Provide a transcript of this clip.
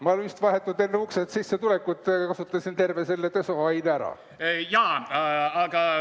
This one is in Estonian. Ma vist vahetult enne uksest sisse tulekut kasutasin terve selle desoaine ära.